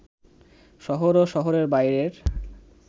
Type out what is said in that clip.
শহর ও শহরের বাইরের